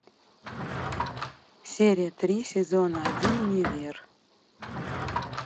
серия три сезона один универ